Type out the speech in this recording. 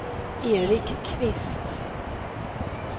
Erik Kvist